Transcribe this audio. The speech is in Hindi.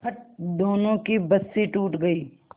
फट दोनों की बंसीे टूट गयीं